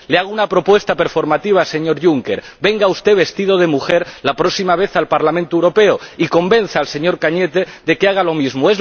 Le hago una propuesta performativa, señor Juncker ¡venga usted vestido de mujer la próxima vez al Parlamento Europeo y convenza al señor Cañete de que haga lo mismo!